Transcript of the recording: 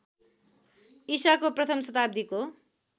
ईशाको प्रथम शताब्दीको